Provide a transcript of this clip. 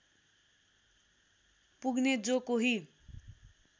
पुग्ने जो कोही